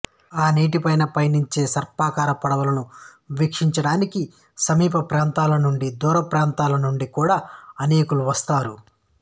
ఆ నీటిపైన పయనించే సర్పాకార పడవలను వీక్షించటానికి సమీప ప్రాంతముల నుండి దూర ప్రాంతముల నుండి కూడా అనేకులు వస్తారు